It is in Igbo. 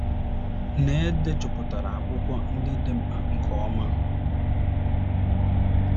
na e dejupụtara akwụkwọ ndị dị mkpa nke ọma